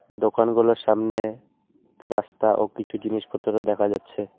দোকানগুলোর সামনে রাস্তা ও কিছু জিনিসপত্র দেখা যাচ্ছে।